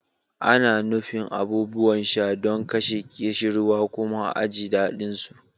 Ana nufin abubuwan sha don kashe ƙishirwa kuma a ji daɗinsu.